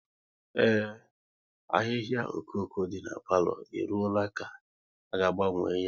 Ee, ahịhịa okoko dị n'palo e ruola ka a ga agbanwe ya